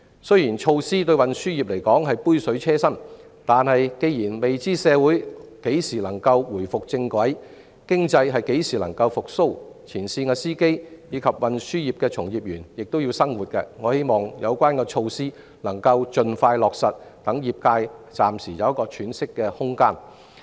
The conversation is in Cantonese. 雖然相關措施對運輸業而言只是杯水車薪，但既然未知社會何時能夠重回正軌，經濟何時才能復蘇，前線司機和運輸業的從業員也要過活，我希望有關措施能夠盡快落實，讓業界暫時有喘息空間。